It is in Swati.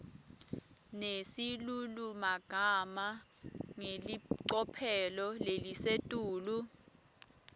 nesilulumagama ngelicophelo lelisetulu